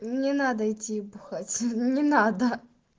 мне надо идти бухаться не надо